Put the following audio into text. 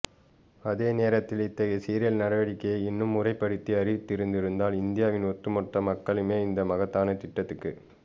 அதே நேரத்தில் இத்தகைய சீரிய நடவடிக்கையை இன்னும் முறைப்படுத்தி அறிவித்திருந்தால்இந்தியாவின் ஒட்டுமொத்த மக்களுமே இந்த மகத்தான திட்டத்துக்கு